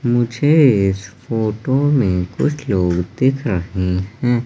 मुझे इस फोटो में कुछ लोग दिख रहे हैं।